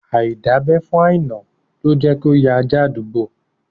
Aidabe fún Aina ló jẹ́ kí ó ya ajá àdúgbò